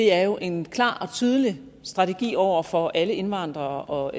er jo en klar og tydelig strategi over for alle indvandrere og